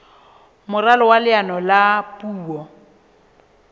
moralo wa leano la puo